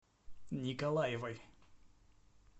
николаевой